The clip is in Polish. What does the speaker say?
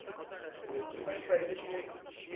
Proszę Państwa, jesteśmy śmieszni.